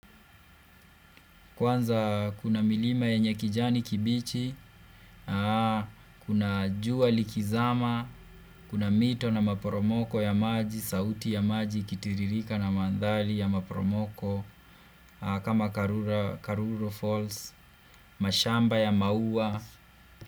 Kwanza kuna milima yenye kijani kibichi, kuna jua likizama, kuna mito na maporomoko ya maji, sauti ya maji, ikitiririka na mandhali ya maporomoko, kama Karura Falls, mashamba ya maua.